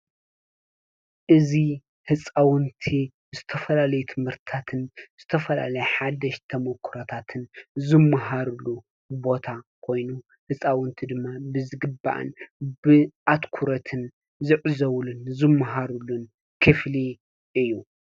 እዚ ህፃውንቲ ዝተፈላለዩ ትምህርትታትን ዝተፈላለዩ ሓደሽቲ ተሞክሮታትን ዝመሃሩሉ ቦታ ኮይኑ ፤ ህፃውንቲ ድማ ብዝግባእን ብአትኩሮትን ዝዕዘቡሉን ዝመሃሩሉን ክፍሊ እዩ፡፡